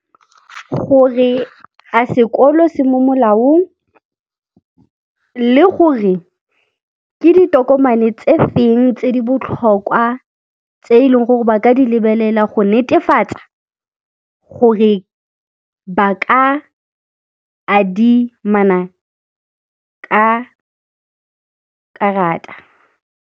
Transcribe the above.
Gore a sekolo se mo molaong le gore ke ditokomane tse feng tse di botlhokwa tse e leng gore ba ka di lebelela go netefatsa gore ba ka adimana ka karata.